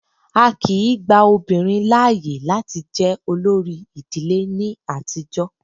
Á kìí gba obìnrin láàyè láti jẹ olórí ìdílé ní àtijọ́.